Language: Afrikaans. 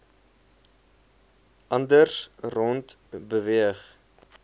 anders rond beweeg